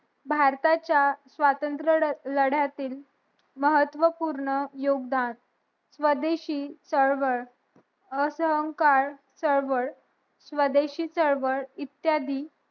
भारताच्या स्वतंत्र लढ्यातील महत्व पूर्ण योगदान स्वदेशी चळवळ असंहनकर चळवळ स्वदेशी केहलवल इत्यादी